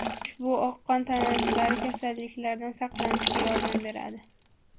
Ushbu oq qon tanachalari kasalliklardan saqlanishga yordam beradi.